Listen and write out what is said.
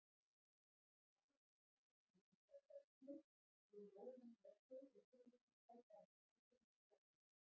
Í vali á besta leikmanninum hjá körlunum voru Jóhann Björnsson og Sigurður Sæberg Þorsteinsson jafnir.